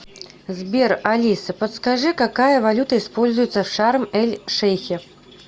сбер алиса подскажи какая валюта используется в шарм эль шейхе